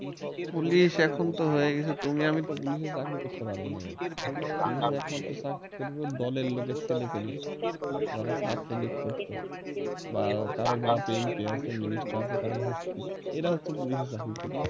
police এখনতো হয়ে গেছে তুমি আমি তো police এ চাকরি করতে পারবো না police র এক মাত্র কাজ হলো দলের লোকের ছেলে পেলে যারা ছাত্র league করছে বা কারো বাপ MP আছে minister আছে এরা হচ্ছে পুলিশে চাকরি করবে